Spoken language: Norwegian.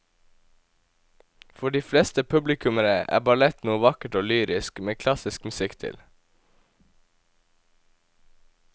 For de fleste publikummere er ballett noe vakkert og lyrisk med klassisk musikk til.